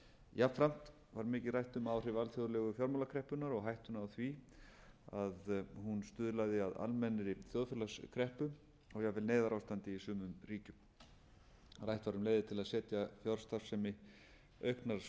jafnframt var mikið rætt um áhrif rætt um áhrif alþjóðlegu fjármálakreppunnar og hættuna á því að hún stuðlaði að almennri þjóðfélagskreppu og jafnvel neyðarástandi í sumum ríkjum rætt var um leiðir til að setja fjárstarfsemi auknar